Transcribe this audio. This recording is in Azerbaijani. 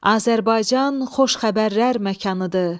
Azərbaycan xoş xəbərlər məkanıdır.